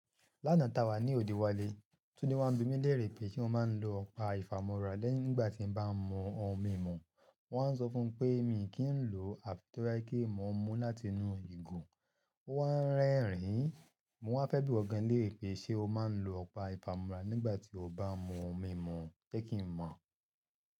Lánàá tá wà ní òde wálé, Túndé wá bí mí léèrè pé ṣé mo máa ń lo ọ̀pá ìfàmúrá lẹ́yìn nígbà tí mo bá ń mú ohun mímu. Mo wá sọ fún pé mi kì í lò àfi toba jẹ pe mo ń mú láti inú ìgò. Ó wá ń rẹ́rìn-ín. Mo wá fẹ́ bí o gan-an léèrè pé ṣe o máa ń lo ọ̀pá ìfàmúrá nígbà tí o bá ń mú ohun mímu, jẹ́ kí n mọ̀.